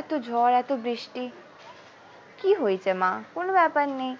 এত ঝড় এত বৃষ্টি কি হয়েছে মা কোনো ব্যাপার নেই।